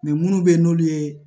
minnu bɛ yen n'olu ye